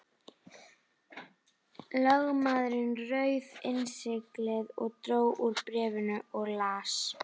Lögmaðurinn rauf innsiglið og dró úr bréfinu og las.